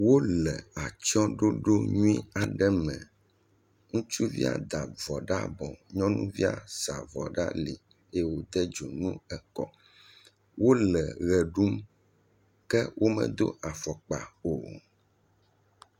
Wo le atsye ɖoɖo nyuie aɖe me. Ŋutsuvia da avɔ ɖe abɔ. Nyɔnu sa avɔ ɖe ali eye wode dzonu ekɔ, wole ʋe ɖum ke wome do afɔkpa o.